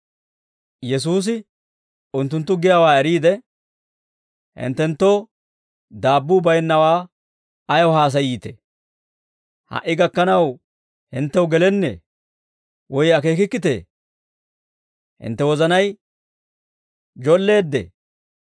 Yesuusi unttunttu giyaawaa eriide, «Hinttenttoo daabbuu bayinnawaa ayaw haasayiitee? Ha"i gakkanaw hinttew gelennee? Woy akeekikkitee? Hintte wozanay jolleeddee?